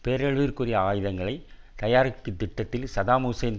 பேரழிவிற்குரிய ஆயுதங்களை தயாரிப்பு திட்டத்தில் சதாம் ஹுசேன்